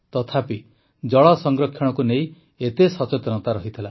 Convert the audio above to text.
ତଥାପି ଜଳ ସଂରକ୍ଷଣକୁ ନେଇ ଏତେ ସଚେତନତା ରହିଥିଲା